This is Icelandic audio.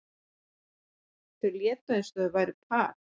Þau létu eins og þau væru par.